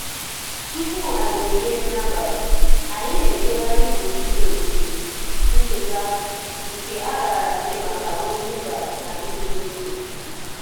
Tupu anyị erie nri abalị, anyị na-ejegharị gburugburu ogige um ncheta um nke a raara nye maka ozi mba na ịdị n'otu um